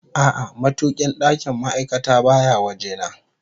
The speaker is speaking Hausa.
A'a, matukin ɗakin ma'aikata baya waje na